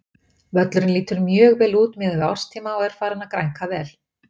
Völlurinn lítur mjög vel út miðað við árstíma og er farinn að grænka vel.